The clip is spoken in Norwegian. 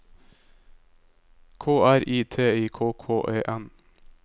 K R I T I K K E N